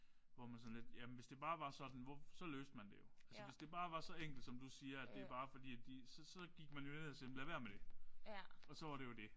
Hvor man er sådan lidt jamen hvis det bare var sådan hvor så løste man det jo altså hvis det bare var så enkelt som du siger at det er bare fordi at de så så gik man jo ned og siger lad være med det og så var det jo det